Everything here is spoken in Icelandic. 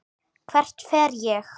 Hvert fer ég?